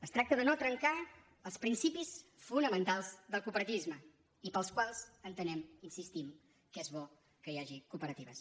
es tracta de no trencar els principis fonamentals del cooperativisme i pels quals entenem hi insistim que és bo que hi hagi cooperatives